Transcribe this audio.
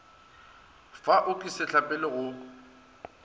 fa o ke setlapele go